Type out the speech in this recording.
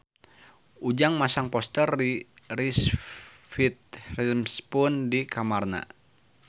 Ujang masang poster Reese Witherspoon di kamarna